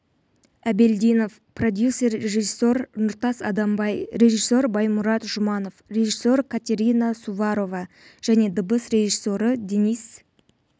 әбелдинов продюсер режиссер нұртас адамбай режиссер баймұрат жұманов режиссер катерина суворова және дыбыс режиссері денис